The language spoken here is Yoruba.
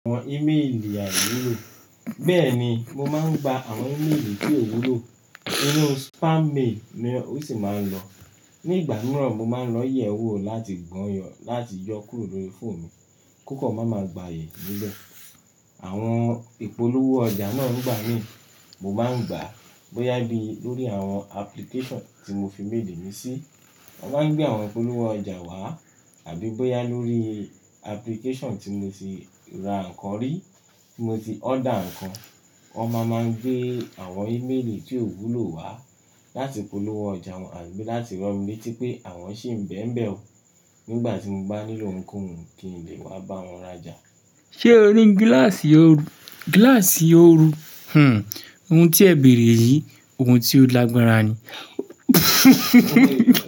Àwọn emaili àìwulo. Bẹ́ẹ̀ni, mo máa ń gba àwọn emaili tí ò wúlò nínú spam mail ni o sì máa ń lọ. Ní ìgbà mìíràn, mo máa ń lọ yẹ̀wò láti gbọ́yàn láti yọ kúrò lórí fóòmù mi kó kọ̀ má máa gbayè níbe. Àwọn ìpolówó ọjà náà ń gbà mí, mo máa ń gbà bóyá bí lórí àwọn application tí mo fi mail mi sí. Wọn máa ń gbé àwọn ìpolówó ọjà wá àbí bóyá lórí application tí mo ti ra nǹkan rí, tí mo ti order nǹkan. Wọ́n máa máa gbé àwọn emaili tí ò wúlò wá láti polówó ọjà wọn àbí láti ran mí létí pé àwọn sì ń bẹ̀mbẹ̀ ọ nígbà tí mo bá nílò ohunkóhun kí n lè wá bá wọn rajà. Ṣé o ní gíláàsì ooru? Gíláàsì ooru, ohun tí ẹ bẹ̀rẹ̀ yìí, ohun tí ó lágbára ni.